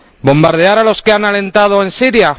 ¿Bombardear a los que han alentado en Siria?